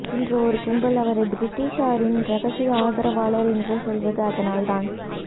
இன்று ஒரு கும்பல் அவரை பிரிட்டிஷாரின் ரகசிய ஆதரவாளர் என்று சொல்வது அதனால்தான்